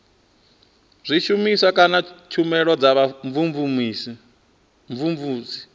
zwishumiswa kana tshumelo dza vhumvumvusi